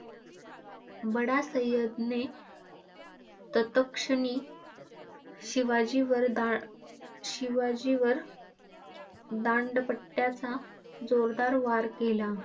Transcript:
बंडा सय्यदने तत्क्षणी शिवाजींवर दांड शिवाजींवर दांडपट्ट्याचा जोरदार वार केला.